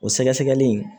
O sɛgɛsɛgɛli